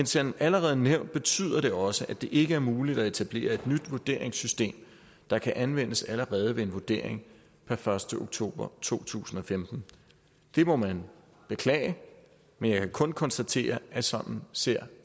som allerede nævnt betyder det også at det ikke er muligt at etablere et nyt vurderingssystem der kan anvendes allerede ved en vurdering per første oktober to tusind og femten det må man beklage men jeg kan kun konstatere at sådan ser